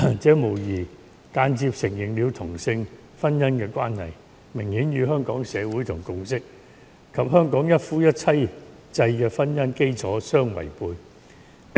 這無疑間接承認同性婚姻的關係，明顯與香港社會共識及香港一夫一妻制的婚姻基礎相違背。